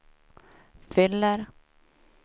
fyller